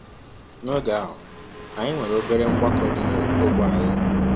N’oge ahụ, anyị nwere obere mgbakọ dị n’ógbè anyị.